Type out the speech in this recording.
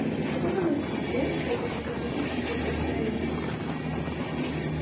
но следовало ли тебе всё-таки говорить всё это про эшли